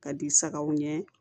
Ka di sagaw ɲɛ